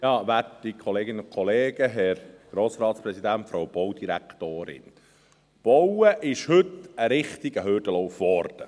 Bauen ist heute zu einem richtigen Hürdenlauf geworden.